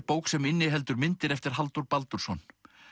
bók sem inniheldur myndir eftir Halldór Baldursson